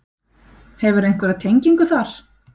Hefurðu einhverja tengingu þar?